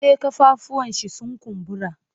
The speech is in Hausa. E, ƙafafuwanshi sun kumbura.